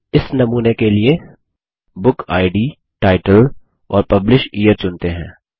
इस नमूने के लिए बुकिड टाइटल और publish यियर चुनते हैं